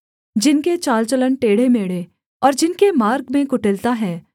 जिनके चाल चलन टेढ़ेमेढ़े और जिनके मार्ग में कुटिलता हैं